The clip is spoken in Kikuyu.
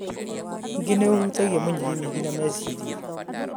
ningĩ nĩ ũhutagia mũnyiginyigi, na meciria.